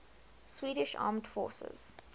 swedish armed forces